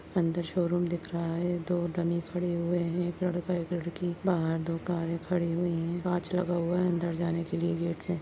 अंदर शोरूम दिख रहा है दो डमी खड़े हुए है एक लड़का एक लड़की बाहर दो कारे खड़ी हुई है कांच लगा हुआ है अंदर जाने के लिए गेट है।